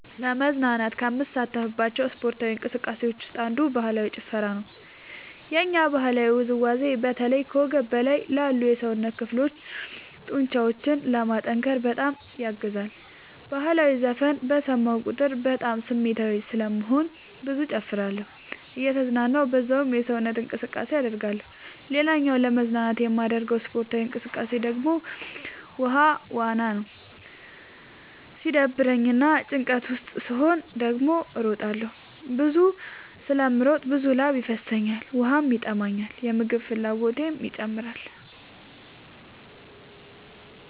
ለመዝናናት ከምሳተፍባቸው ስፓርታዊ እንቅስቃሴዎች ውስጥ አንዱ ባህላዊ ጭፈራ ነው። የኛ ባህላዊ ውዝዋዜ በተለይ ከወገብ በላይ ላሉ የሰውነት ክፍሎ ጡንቻዎችን ለማጠንከር በጣም ያግዛል። በህላዊ ዘፈን በሰማሁ ቁጥር በጣም ስሜታዊ ስለምሆን ብዙ እጨፍራለሁ እየተዝናናሁ በዛውም ሰውነት እንቅስቃሴ አደርጋለሁ። ሌላኛው ለመዝናናት የማደርገው ስፖርታዊ እንቅቃሴ ደግሞ ውሃ ዋና ነው። ሲደብረኝ እና ጭንቀት ውስጥ ስሆን ደግሞ እሮጣለሁ። ብዙ ስለምሮጥ ብዙ ላብ ይፈሰኛል ውሃም ይጠማኛል የምግብ ፍላጎቴም ይጨምራል።